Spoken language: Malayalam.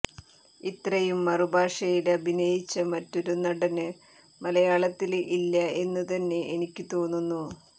ഇത്രയും മറുഭാഷയില് അഭിനയിച്ച മറ്റൊരു നടന് മലയാളത്തില് ഇല്ല എന്ന് തന്നെ എനിക്ക് തോന്നുന്നു